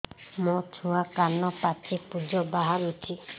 ମୋ ଛୁଆ କାନ ପାଚି ପୂଜ ବାହାରୁଚି